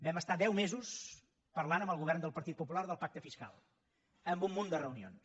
vam parlar deu mesos amb el govern del partit popular del pacte fiscal amb un munt de reunions